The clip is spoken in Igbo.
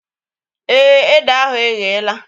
Èé, ede ahụ eghela